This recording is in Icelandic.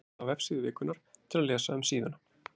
Smellið á Vefsíða vikunnar til að lesa um síðuna.